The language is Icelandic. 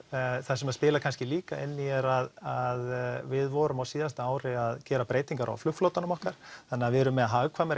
það sem spilar kannski líka inn í er að við vorum á síðasta ári að gera breytingar á flugflotanum okkar þannig að við erum með